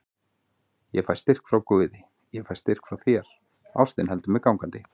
Ég fæ styrk frá guði, ég fæ styrk frá þér, ástin heldur mér gangandi.